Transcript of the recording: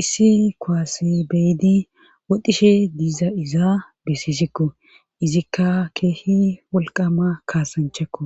issi koase beydi wodishe diiza izaa besissikko izikka keehi wolqama kaasanchekko